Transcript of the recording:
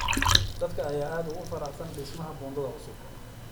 Dadka ayaa aad ugu faraxsan dhismaha buundada cusub.